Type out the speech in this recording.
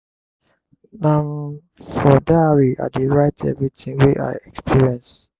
na um for diary i dey write everytin wey i experience.